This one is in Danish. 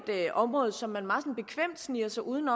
område som man sådan meget bekvemt sniger sig uden